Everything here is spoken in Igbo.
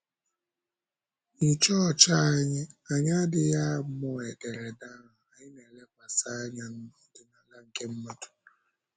N’ịchọọchị anyị, anyị adịghị amụ ederede ahụ; anyị na-elekwasị anya n’ọdịnala nke mmadụ.